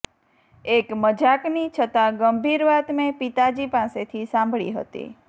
એક મજાકની છતાં ગંભીર વાત મેં પિતાજી પાસેથી સાંભળી હતી